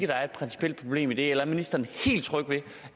der er et principielt problem i det er ministeren